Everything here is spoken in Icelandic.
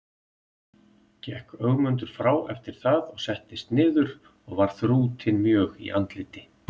Gekk Ögmundur frá eftir það og settist niður og var þrútinn mjög í andliti.